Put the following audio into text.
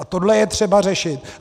A tohle je třeba řešit.